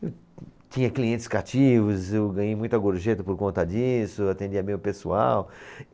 Eu tinha clientes cativos, eu ganhei muita gorjeta por conta disso, atendia bem o pessoal.